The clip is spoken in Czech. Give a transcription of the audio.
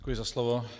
Děkuji za slovo.